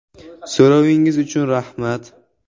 So‘rovingiz uchun rahmat.